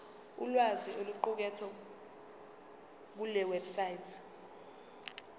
ulwazi oluqukethwe kulewebsite